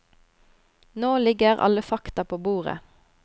Nå ligger alle fakta på bordet.